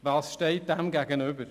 Was steht dem gegenüber?